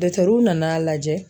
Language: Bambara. Dɔtɛruw nan'a lajɛ